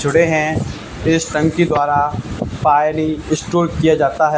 जुड़े हैं इस संघ की द्वारा शायद ही स्टोर किया जाता है।